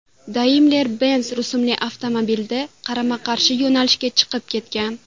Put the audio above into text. Daimler-Benz rusumli avtomobilda qarama-qarshi yo‘nalishga chiqib ketgan.